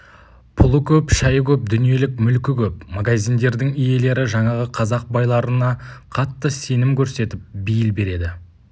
пұлы көп шайы көп дүниелік мүлкі көп магазиндердің иелері жаңағы қазақ байларына қатты сенім көрсетіп бейіл береді